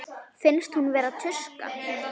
Finnst hún vera tuska.